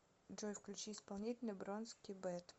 джой включи исполнителя бронски бэт